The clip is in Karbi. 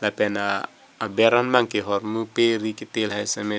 lapen aber an bangke hormu peri ke te lahai sita me thek--